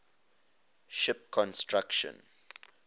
ship construction